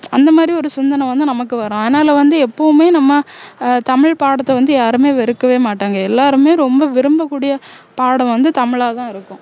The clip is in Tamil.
அந்தமாதிரி ஒரு சிந்தனை வந்து நமக்கு வரும் அதனால வந்து எப்போவுமே நம்ம ஆஹ் தமிழ் பாடத்த வந்து யாருமே வெறுக்கவே மாட்டாங்க எல்லாருமே ரொம்ப விரும்பக்கூடிய பாடம் வந்து தமிழாதான் இருக்கும்